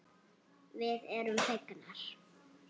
Við erum fegnar.